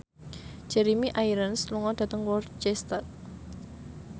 Jeremy Irons lunga dhateng Worcester